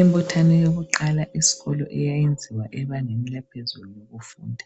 Imbuthano yakuqala eskolo iyayenziwa ebangeni laphezulu labafundi.